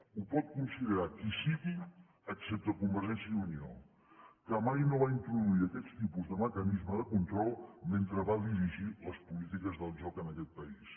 ho pot considerar qui sigui excepte convergència i unió que mai no va introduir aquests tipus de mecanisme de control mentre va dirigir les polítiques del joc en aquest país